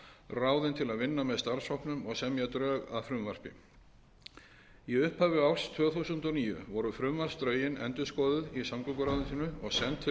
ráðinn til að semja með starfshópnum og semja drög að frumvarpi í upphafi árs tvö þúsund og níu voru frumvarpsdrögin endurskoðun í samgönguráðuneytinu og send til